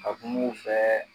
Ka kum'u fɛ.